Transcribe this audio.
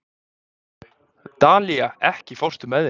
Dalía, ekki fórstu með þeim?